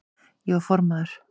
Ég var formaður